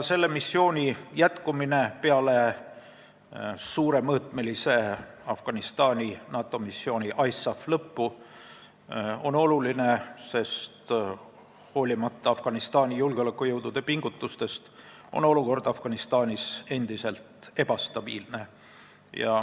Selle missiooni jätkumine peale suuremõõtmelise Afganistani NATO missiooni ISAF lõppu on oluline, sest hoolimata Afganistani julgeolekujõudude pingutustest on olukord Afganistanis endiselt ebastabiilne.